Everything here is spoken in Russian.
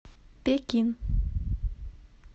пекин